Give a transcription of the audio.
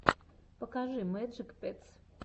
покажи мэджик петс